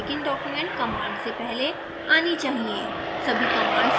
लेकिन ये begin document command से पहले आनी चाहिए